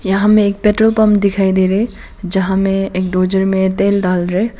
यहाँ हमें एक पेट्रोल पंप दिखाई दे रहे यहां में एक डोजर मे तेल डाल रहे हैं।